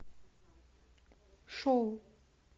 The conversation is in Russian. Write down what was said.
шоу